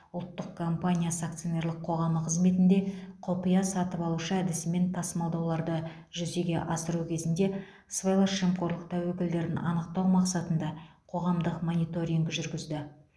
ұлттық компаниясы акционерлік қоғамы қызметінде құпия сатып алушы әдісімен тасымалдауларды жүзеге асыру кезінде сыбайлас жемқорлық тәуекелдерін анықтау мақсатында қоғамдық мониторинг жүргізді